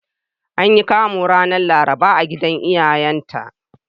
An yi Kamu ranar Laraba a gidan iyayenta.